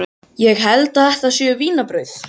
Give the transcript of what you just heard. Ég held að þetta séu vínarbrauð.